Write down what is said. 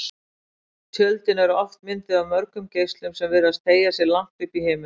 Tjöldin eru oft mynduð af mörgum geislum sem virðast teygja sig langt upp í himininn.